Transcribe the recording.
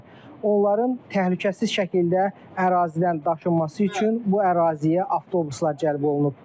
Onların təhlükəsiz şəkildə ərazidən daşınması üçün bu əraziyə avtobuslar cəlb olunub.